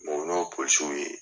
ye.